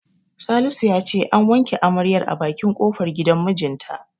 Salisu ya ce an wanke amaryar a bakin kofar gidan mijinta.